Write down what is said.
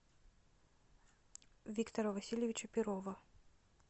виктора васильевича перова